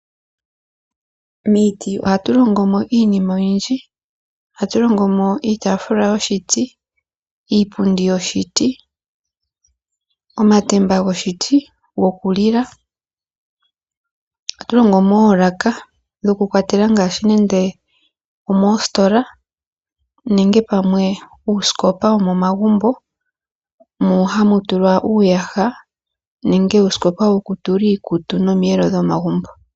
Miiti ohatu longomo iinima oyindji, ohatu longomo iitaafula yoshiti, iipundi yoshiti, omatemba goshiti gokulila, ohatu longomo wo oolaaka dhoku kwatela ngaashi nande omoositola nenge pamwe uusikopa womomagumbo moka hamu tulwa iiyaha, nenge uusikopa wokutula iikutu, nomiyelo dhomagumbo.